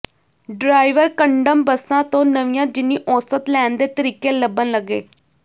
driver condemn ਬੱਸਾਂ ਤੋਂ ਨਵੀਆਂ ਜਿੰਨੀ ਔਸਤ ਲੈਣ ਦੇ ਤਰੀਕੇ ਲੱਭਣ ਲੱਗੇ